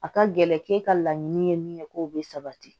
A ka gɛlɛn k'e ka laɲini ye min ye k'o bɛ sabati